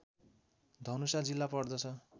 धनुषा जिल्ला पर्दछ